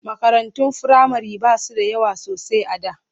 Makarantun firamare ba su da yawa sosai a da.